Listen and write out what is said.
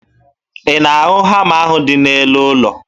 Ị na-ahụ hama ahụ dị n'elu ụlọ?